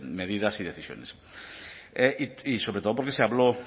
medidas y decisiones y sobre todo porque se habló